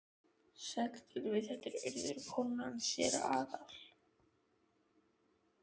Sæll, Gylfi, þetta er Urður, konan hans séra Aðal